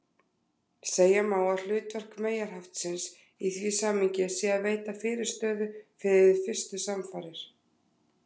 Segja má að hlutverk meyjarhaftsins í því samhengi sé að veita fyrirstöðu við fyrstu samfarir.